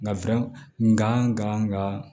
Nka ŋa n ga